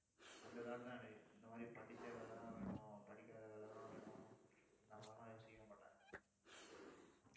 அந்த thought தான் எனக்கு இந்த மாதிரி, படிச்ச வேலைதான் வேணும். படிக்காத வேலைதான் வேணும் இந்த மாதிரி எல்லாம் யோசிக்கவே மாட்டேன்